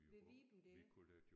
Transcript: Ved viben der